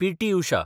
PT. Usha